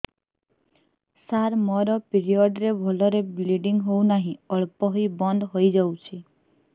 ସାର ମୋର ପିରିଅଡ଼ ରେ ଭଲରେ ବ୍ଲିଡ଼ିଙ୍ଗ ହଉନାହିଁ ଅଳ୍ପ ହୋଇ ବନ୍ଦ ହୋଇଯାଉଛି